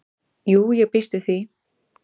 """Jú, ég býst við því"""